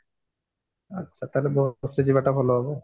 ଆଚ୍ଛା ତାହେଲେ ବସରେ ଯିବ ଟା ଭଲ ହବ ଆଉ